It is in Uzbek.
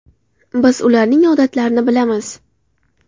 Biz ularning odatlarini bilamiz.